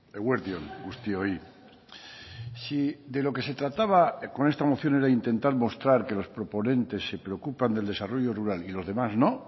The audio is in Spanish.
eguerdi on guztioi si de lo que se trataba con esta moción era intentar mostrar que los proponentes se preocupan del desarrollo rural y los demás no